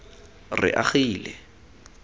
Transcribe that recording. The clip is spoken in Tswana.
reagile